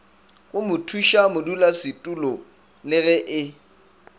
go mothušamodulasetulo le ge e